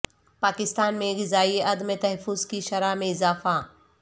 پاکستان میں غذائی عدم تحفظ کی شرح میں اضافہ